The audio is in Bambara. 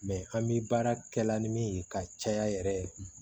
an bi baara kɛ la ni min ye ka caya yɛrɛ